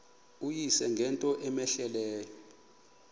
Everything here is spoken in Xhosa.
uyise ngento cmehleleyo